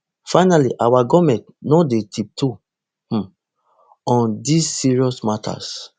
finally our goment no dey tiptoe um on these serious matters